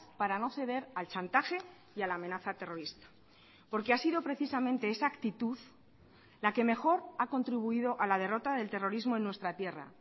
para no ceder al chantaje y a la amenaza terrorista porque ha sido precisamente esa actitud la que mejor ha contribuido a la derrota del terrorismo en nuestra tierra